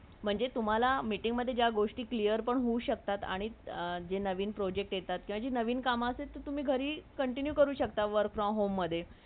म्हणजे meeting मदे जे गोष्टी तुम्हाला clear पण हो शक्तात आणि जे नवीन project येतात किवा जे नवीन कामा असतात ती तुम्ही घरी continue करू शक्ताव work from home मदे